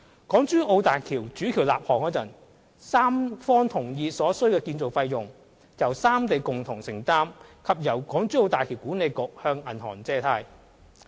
港珠澳大橋主橋立項時，三方同意所需的建造費用由三地共同承擔，並由大橋管理局向銀行借貸。